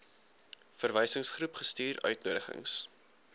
verwysingsgroep gestuur uitnodigings